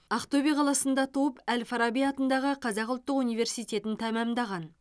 ақтөбе қаласында туып әл фараби атындағы қазақ ұлттық университетін тәмамдаған